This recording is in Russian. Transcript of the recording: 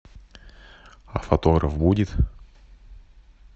а фотограф будет